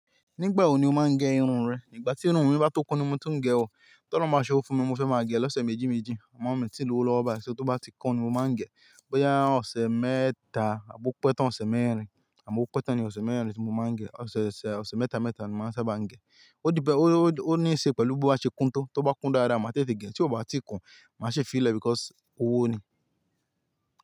Nígbà wo ni o máa ń gé irun rẹ? Ìgbà tí irun mi bá tó kún ni mo tó ń gẹ ọ, ti olorun bá ṣe owọ fún mi mo fẹ́ máa gẹ lọ́sẹ̀ méjì méjì, àmọ́ mi tí lówó lọ́ba, ṣo tó bá ti kun ni mo máa ń gẹ, bóyá ọ̀sẹ̀ mẹ́ta àbi ọ̀pe tán ọ̀sẹ̀ mẹ́rin àbọ́ ope tán ní ọ̀sẹ̀ mẹ́rin ni mo máa ń gẹ, ọ̀sẹ̀ mẹ́ta mẹ́ta ni mo sábà máa ń gẹ. Ó depend, ó ní í ṣe pẹ̀lú boba ṣe kúntọ́, tó bá kún dáadáa màá tètè gẹ, tí ó bá ti kun màá ṣe fi ìlẹ̀ because owó ni.